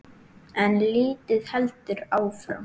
En lífið heldur áfram.